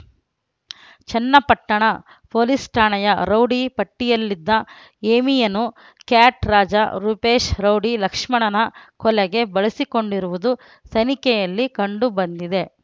Channapatna police ಠಾಣೆಯ rowdy ಪಟ್ಟಿಯಲ್ಲಿದ್ದ ಹೇಮಿಯನ್ನು ಕ್ಯಾಟ್ ರಾಜ ರೂಪೇಶ್ ರೌಡಿ ಲಕ್ಷ್ಮಣನ ಕೊಲೆಗೆ ಬಳಸಿಕೊಂಡಿರುವುದು ತನಿಖೆಯಲ್ಲಿ ಕಂಡುಬಂದಿದೆ